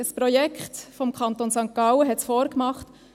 Ein Projekt des Kantons St. Gallen hat es vorgemacht.